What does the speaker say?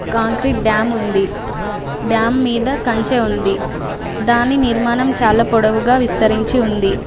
concrete dam ఉంది dam మీద కంచె ఉంది దాని నిర్మాణం చాలా పొడవుగా విస్తరించి ఉంది